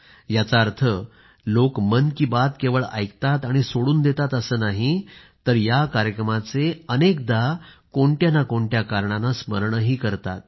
याचा अर्थ लोक मन की बात केवळ ऐकतात आणि सोडून देतात असं नाही तर या कार्यक्रमाचे अनेकदा कोणत्या ना कोणत्या कारणाने स्मरणही करतात